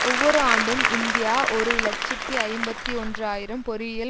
ஒவ்வொரு ஆண்டும் இந்தியா ஒரு இலட்சத்தி ஐம்பத்தி ஒன்று ஆயிரம் பொறியியல்